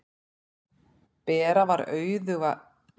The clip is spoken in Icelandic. Bera var auðug af gangandi fé og sjást enn kvíatóftir hennar í túninu á